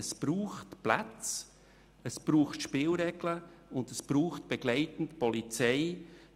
Es braucht Plätze, es braucht Spielregeln, und es braucht begleitend die Polizei.